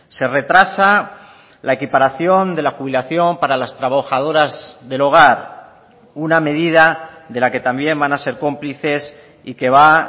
se retrasa la equiparación de la jubilación para las trabajadoras del hogar una medida de la que también van a ser cómplices y que va